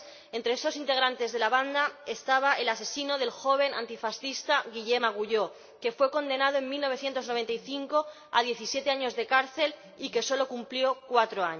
Entre los integrantes de la banda estaba el asesino del joven antifascista Guillem Agulló, que fue condenado en 1995 a diecisiete años de cárcel, de los que solo cumplió cuatro.